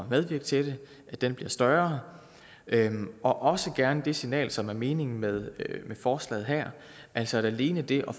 medvirke til det bliver større og også gerne sende det signal som er meningen med forslaget her altså at alene det at